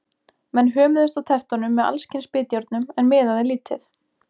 Menn hömuðust á tertunum með alls kyns bitjárnum, en miðaði lítið.